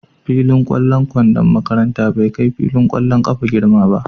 Fillin ƙwallon kwandon makaranta bai kai filin ƙwallon ƙafa girma ba.